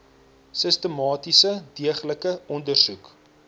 sistematiese deeglike ondersoek